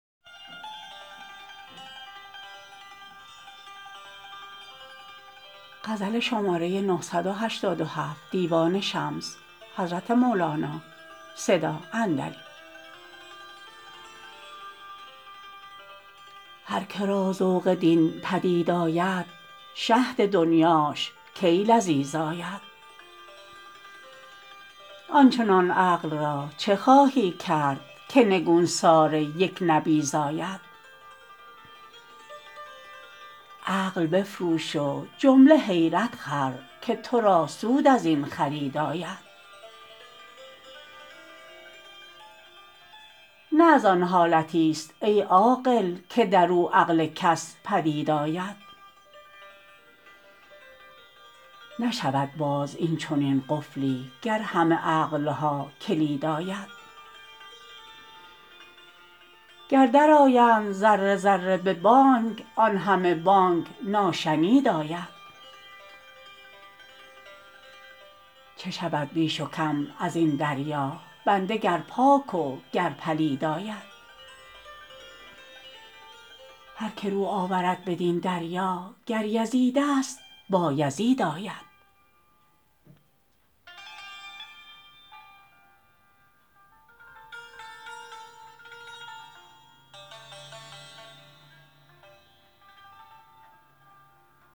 هر که را ذوق دین پدید آید شهد دنیاش کی لذیذ آید آن چنان عقل را چه خواهی کرد که نگوسار یک نبیذ آید عقل بفروش و جمله حیرت خر که تو را سود از این خرید آید نه از آن حالتیست ای عاقل که در او عقل کس بدید آید نشود باز این چنین قفلی گر همه عقل ها کلید آید گر درآیند ذره ذره به بانگ آن همه بانگ ناشنید آید چه شود بیش و کم از این دریا بنده گر پاک وگر پلید آید هر که رو آورد بدین دریا گر یزیدست بایزید آید